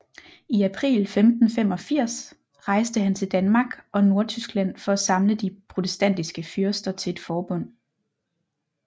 I april 1585 rejste han til Danmark og Nordtyskland for at samle de protestantiske fyrster til et forbund